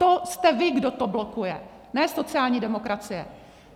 To jste vy, kdo to blokuje, ne sociální demokracie.